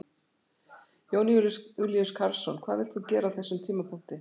Jón Júlíus Karlsson: Hvað vilt þú gera á þessum tímapunkti?